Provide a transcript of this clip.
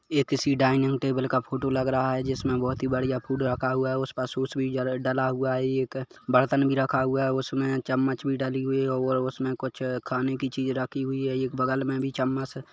ये किसी dining table का फोटो लगा रहा है जिसमे बहुत बढ़िया फ़ूड रखा हुआ है उस पर सूस भी डाला हुआ है एक बरतन भी रखा हुआ है उसमे चम्मच भी डली हुई है और उसमे कुछ खाने कि चीज राखी हुई है एक बगल में भीं चम्मच--